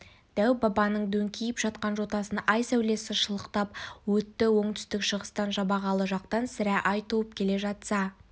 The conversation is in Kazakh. дәу-бабаның дөңкиіп жатқан жотасын ай сәулесі шалықтап өтті оңтүстік-шығыстан жабағылы жақтан сірә ай туып келе жатса